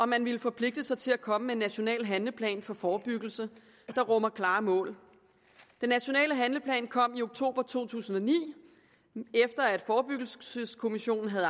man ville forpligte sig til at komme med en national handleplan for forebyggelse der rummer klare mål den nationale handleplan kom i oktober to tusind og ni efter at forebyggelseskommissionen havde